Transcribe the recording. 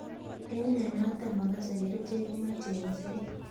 Eng mnyenotok makasei kerichek komeche engset.